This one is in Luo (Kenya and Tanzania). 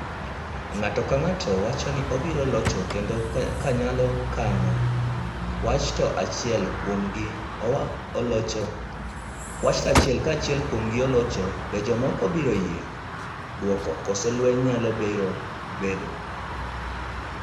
Ng’ato ka ng’ato wacho ni obiro locho kendo kanyo kenyo wach ka achiel kuom gi olocho be jomokogo biro yie gi duoko koso lweny nyalo bedo kendo.